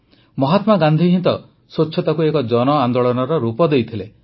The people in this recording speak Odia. ମହାତ୍ମା ଗାନ୍ଧି ହିଁ ତ ସ୍ୱଚ୍ଛତାକୁ ଏକ ଜନଆନ୍ଦୋଳନର ରୂପ ଦେଇଥିଲେ